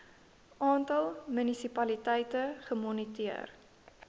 aantal munisipaliteite gemoniteer